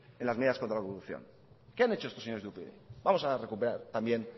en las medidas contra la corrupción qué han hecho estos señores de upyd vamos a recuperar también